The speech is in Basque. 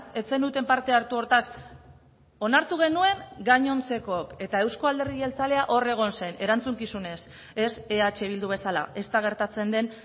ez zenuten parte hartu hortaz onartu genuen gainontzekook eta euzko alderdi jeltzalea hor egon zen erantzukizunez ez eh bildu bezala ez da gertatzen den